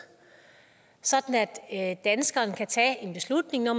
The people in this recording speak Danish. sådan at danskerne kan tage en beslutning når